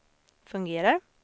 fungerar